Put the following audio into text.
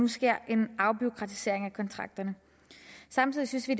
sker en afbureaukratisering af kontrakterne samtidig synes vi